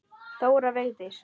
Þóra Vigdís.